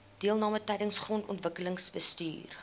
deelname tydens grondontwikkelingsbestuur